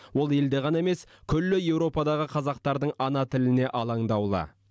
ол елде ғана емес күллі еуропадағы қазақтардың ана тіліне алаңдаулы